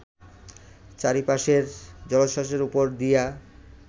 চারিপাশের জলোচ্ছাসের উপর দিয়া